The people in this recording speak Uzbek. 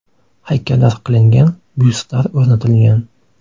Haykallar qilingan, byustlar o‘rnatilgan.